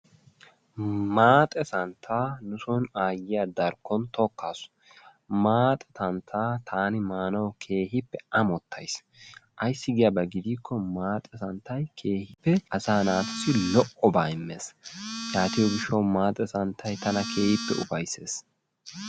Maaxe santtaa nu soni aayyiya darkkon tokkaasu. Maaxe santtaa taani maanawu keehippe amottays. Ayssi giyaba keena gidikko maaxe santtay asaa naatussi keehippe lo'obaa immees. Yaatiyo gishshawu maaxe santtay tana keehippe ufayssees.